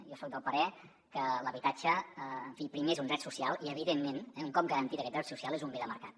jo soc del parer que l’habitatge en fi primer és un dret social i evidentment un cop garantit aquest dret social és un bé de mercat